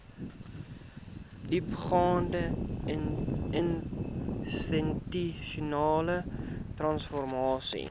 diepgaande institusionele transformasie